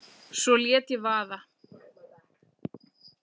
Svo lét ég vaða.